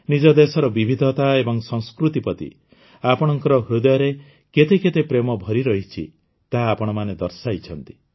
ନିଜ ଦେଶର ବିବିଧତା ଏବଂ ସଂସ୍କୃତି ପ୍ରତି ଆପଣମାନଙ୍କ ହୃଦୟରେ କେତେ କେତେ ପ୍ରେମ ଭରି ରହିଛି ତାହା ଆପଣମାନେ ଦର୍ଶାଇଛନ୍ତି